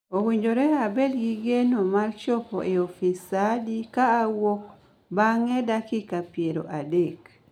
Owinjore abed gi geno ma chopo e ofis saa adi ka awuok bang� dakika piero adek?